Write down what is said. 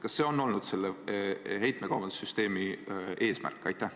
Kas see on olnud selle heitmekaubandussüsteemi eesmärk?